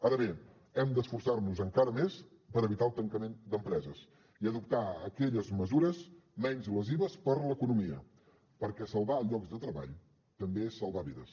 ara bé hem d’esforçar nos encara més per evitar el tancament d’empreses i adoptar aquelles mesures menys lesives per a l’economia perquè salvar llocs de treball també és salvar vides